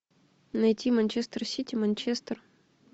найти манчестер сити манчестер